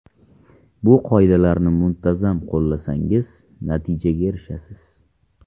Bu qoidalarni muntazam qo‘llasangiz, natijaga erishasiz.